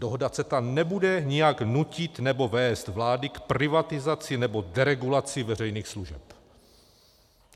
Dohoda CETA nebude nijak nutit nebo vést vlády k privatizaci nebo deregulaci veřejných služeb.